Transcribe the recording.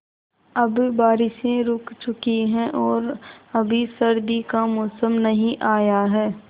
अब बारिशें रुक चुकी हैं और अभी सर्दी का मौसम नहीं आया है